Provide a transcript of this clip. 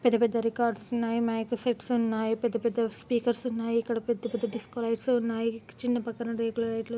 పెద్ద పెద్ద రికార్డ్స్ ఉన్నాయి మైక్ సెట్స్ ఉన్నాయి పెద్ద పెద్ద స్పీకర్ స్ ఉన్నాయి ఇక్కడ పెద్ద పెద్ద డిస్క్కో లైట్స్ ఉన్నాయి చిన్న పక్కన రేకుల లైట్ లు ఉన్నాయి